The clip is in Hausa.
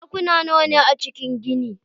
Ɗakuna nawa ne a cikin ginin?